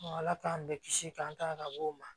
Ala k'an bɛɛ kisi k'an tanga ka bɔ o ma